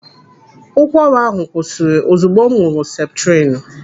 Ụkwara ahụ kwụsịrị ozugbo m ṅụrụ seputrinu.